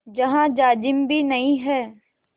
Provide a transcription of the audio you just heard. जहाँ जाजिम भी नहीं है